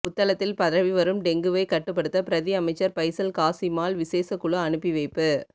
புத்தளத்தில் பரவிவரும் டெங்குவை கட்டுப்படுத்த பிரதி அமைச்சர் பைசல் காசிமால் விசேட குழு அனுப்பிவைப்பு